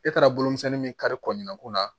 E taara bolomisɛnnin min kari kɔɲumanko la